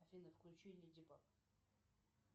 афина включи леди баг